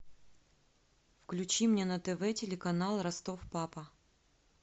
включи мне на тв телеканал ростов папа